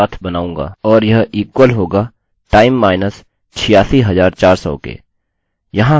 और यह इक्वल होगा time minus 86400 के